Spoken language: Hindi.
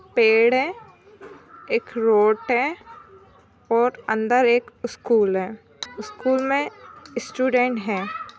पेड़ है एक रोड है और अंदर एक स्कूल है स्कूल मे स्टूडेंट है।